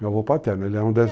Meu avô paterno, ele é um